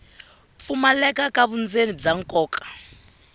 pfumaleka ka vundzeni bya nkoka